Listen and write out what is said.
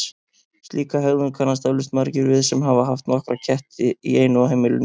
Slíka hegðun kannast eflaust margir við sem hafa haft nokkra ketti í einu á heimilinu.